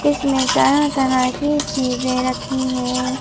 इसमें तरह-तरह की चीजें रखी हैं।